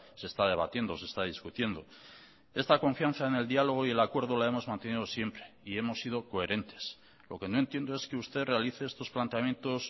se está debatiendo se está discutiendo esta confianza en el diálogo y en el acuerdo lo hemos mantenido siempre y hemos sido coherentes lo que no entiendo es que usted realice estos planteamientos